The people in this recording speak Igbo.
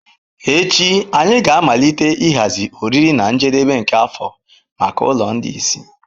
Echi anyị ga-amalite ịhazi oriri na njedebe nke afọ maka ụlọ ndị ìsì.